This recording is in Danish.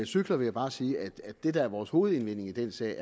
cykler vil jeg bare sige at det der er vores hovedindvending i den sag